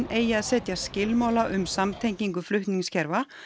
eigi að setja skilmála um samtengingu flutningskerfa